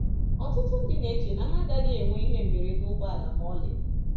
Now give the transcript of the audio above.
Ọtụtụ ndị na-eche na ha agaghị enwe ihe mberede ụgbọala ma ọlị.